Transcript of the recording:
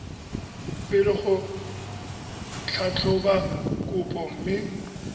pele go tlhatlhoba kopo mme